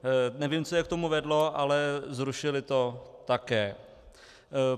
Nevím, co je k tomu vedlo, ale zrušili to také.